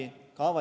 Jah, vabandust!